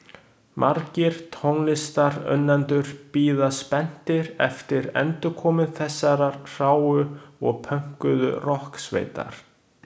Margir tónlistarunnendur bíða spenntir eftir endurkomu þessarar hráu og pönkuðu rokksveitar.